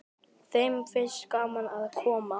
Þeim finnst gaman að koma.